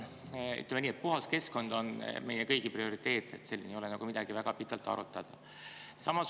Puhas keskkond on meie kõigi prioriteet, siin ei ole midagi väga pikalt arutada.